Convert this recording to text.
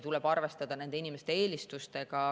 Tuleb arvestada inimeste eelistustega.